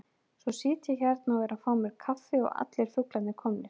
Svo sit ég hérna og er að fá mér kaffi og allir fuglarnir komnir.